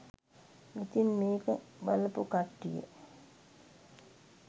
ඉතින් මේක බලපු කට්ටිය